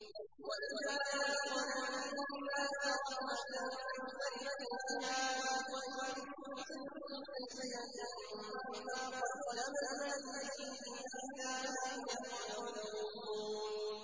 وَإِذَا أَذَقْنَا النَّاسَ رَحْمَةً فَرِحُوا بِهَا ۖ وَإِن تُصِبْهُمْ سَيِّئَةٌ بِمَا قَدَّمَتْ أَيْدِيهِمْ إِذَا هُمْ يَقْنَطُونَ